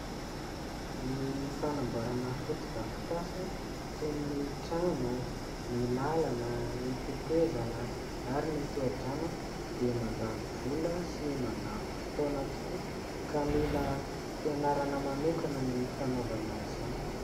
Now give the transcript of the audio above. Ny fanamboarana fotodrafitrasa toy ny trano, ny lalana, ny tetezana ary toha-drano dia mandany vola sy mandany fotoana tokoa ka mila fianarana manokana ny fanaovana izany.